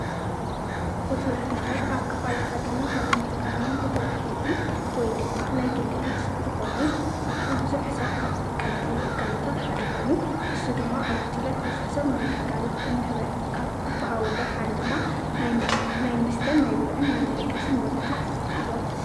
ሆቴላት ማለት ኣብ ክፋላት ሃገርና ካብ እንጥቀመሎም እቶም ዓበይቲ ወይ ድማ ናይ ግልታት ዝኾኑ ማለትም ብዙሕ ሰብ ካብ ዝጥቀመሎም ግልጋሉታት ሓደ ኾይኑ፣ እሱ ድማ ኣብ ሆቴላት ብዙሕ ሰብ ናይ ግልጋሎት እንህበ ካብ ዝብሃወሎም ሓደ ድማ ናይ መስተን ናይ ብልዕን ናይ መደቀስን ወዘተ እዮም።